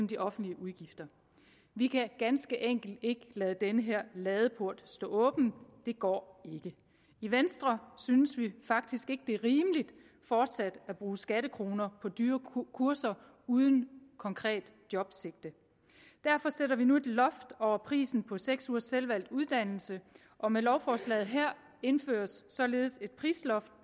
de offentlige udgifter vi kan ganske enkelt ikke lade den her ladeport stå åben det går ikke i venstre synes vi faktisk ikke det er rimeligt fortsat at bruge skattekroner på dyre kurser uden konkret jobsigte derfor sætter vi nu et loft over prisen på seks ugers selvvalgt uddannelse og med lovforslaget her indføres således et prisloft